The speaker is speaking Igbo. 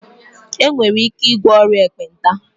Enwere ike ịgwọ ọrịa Ekpenta